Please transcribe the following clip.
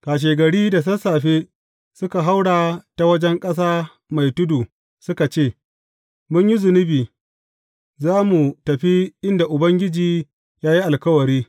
Kashegari da sassafe suka haura ta wajen ƙasa mai tudu suka ce, Mun yi zunubi, za mu tafi inda Ubangiji ya yi alkawari.